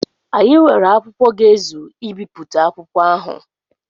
Anyị nwere akwụkwọ ga-ezu ibipụta akwụkwọ ahụ.